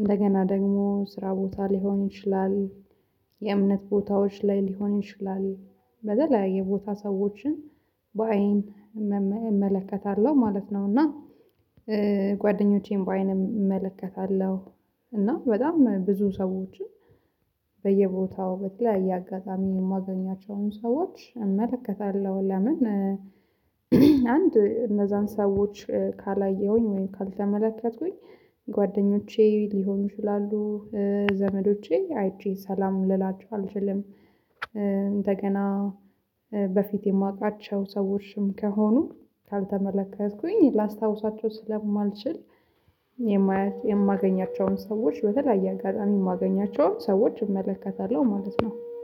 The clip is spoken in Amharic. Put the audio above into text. እንደገና ደግሞ ስራ ቦታ ሊሆን ይችላል። የእምነት ቦታዎች ላይ ሊሆን ይችላል። በተለያየ ቦታ ሰዎችን በአይን እመለከታለሁ ማለት ነው። እና ጓደኞቼን በአይን እመለከታለሁ እና በጣም ብዙ ሰዎችን በየቦታው በተለያየ አጋጣሚ የማገኛቸውን ሰዎች እመለከታለሁ። ለምን አንድ እነዛን ሰዎች ካላየሁኝ ወይም ካልተመለከቱኝ? ጓደኞቼ ሊሆኑ ይችላሉ። ዘመዶቼ አይቼ ሰላም ልላችሁ አልችልም። እንደገና የማውቃቸው ሰውችም ከሆኑ ካልተመለከትኩኝ ላስታውሳቸው ስለማልችል። የማገኛቸውን ሰዎች በተለያየ አጋጣሚ የማገኛቸውን ሰዎች እመለከታለሁ ማለት ነው